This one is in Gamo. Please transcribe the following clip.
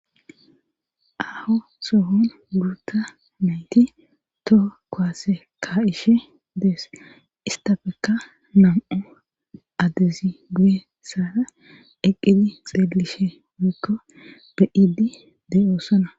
Aho sohon guruta nayti toho koaase ka ishe dees istafeka nam'u adezi buye sara eqqidi xeelishe wiikko beidi de'ossona